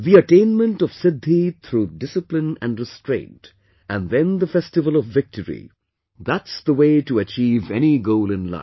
The attainment of 'Siddhi' through discipline and restraint, and then the festival of victory, that's the way to achieve any goal in life